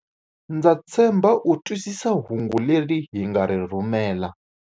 Ndza tshemba u twisisa hungu leri hi nga ri rhumela.